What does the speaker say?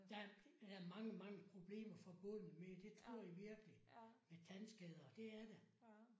Der er mange mange problemer forbundet med det tror jeg virkelig med tandskader det er der